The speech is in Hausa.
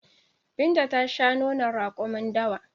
Binta ta shan nonon raƙumin dawa